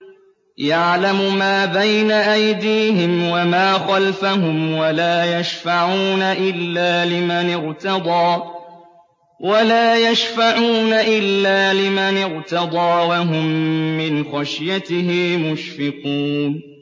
يَعْلَمُ مَا بَيْنَ أَيْدِيهِمْ وَمَا خَلْفَهُمْ وَلَا يَشْفَعُونَ إِلَّا لِمَنِ ارْتَضَىٰ وَهُم مِّنْ خَشْيَتِهِ مُشْفِقُونَ